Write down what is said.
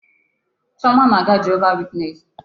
Chioma na-aga Jehova witness.